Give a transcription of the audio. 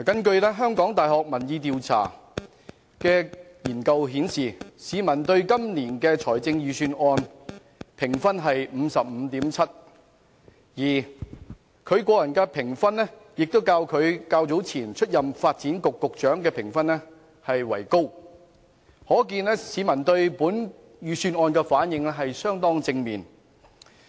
根據香港大學民意研究計劃的調查結果，市民對今年預算案的評分是 55.7 分，而對陳茂波的個人評分亦較他之前出任發展局局長時為高，可見市民對本預算案的反應相當正面。